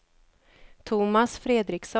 Tomas Fredriksson